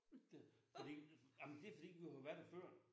Det fordi ej men det fordi vi har jo været der før